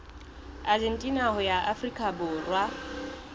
argentina ho ya afrika borwa